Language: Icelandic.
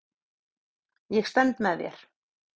Ég stend með þér.